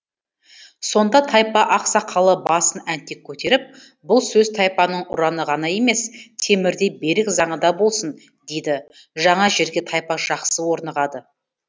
сонда тайпа ақсақалы басын әнтек көтеріп бұл сөз тайпаның ұраны ғана емес темірдей берік заңы да болсын дейді жаңа жерге тайпа жақсы орнығады